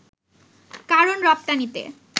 কারণ রপ্তানিতে